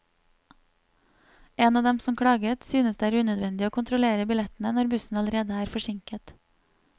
En av dem som klaget, synes det er unødvendig å kontrollere billettene når bussen allerede er forsinket.